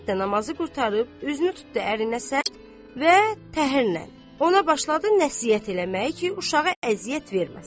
İzzət də namazı qurtarıb, üzünü tutdu ərinə səmt və təhərlə ona başladı nəsihət eləməyə ki, uşağı əziyyət verməsin.